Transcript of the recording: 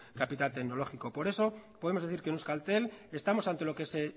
capital tecnológico por eso podemos decir que en euskaltel estamos ante lo que se